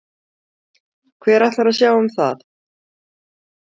Hver ætlar að sjá um það?